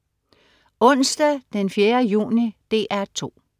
Onsdag den 4. juni - DR 2: